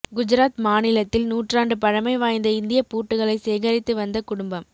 குஜராத் மாநிலத்தில் நூற்றாண்டு பழமை வாய்ந்த இந்திய பூட்டுகளை சேகரித்து வந்த குடும்பம்